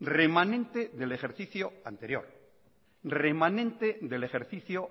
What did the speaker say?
remanente del ejercicio